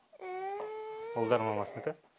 ұлдар мамасыныкы